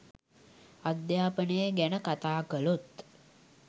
අධ්‍යාපනය ගැන කතා කළොත්